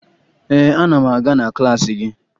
Ee, ana m aga na klaasị gị